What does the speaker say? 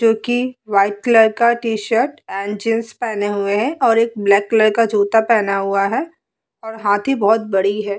जो कि white colour का टी-शर्ट एंड जींस पहने हुए है और एक ब्लैक कलर का जूता पहना हुआ है और हाथी बोहोत बड़ी है।